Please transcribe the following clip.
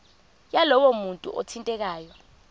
yalowo muntu othintekayo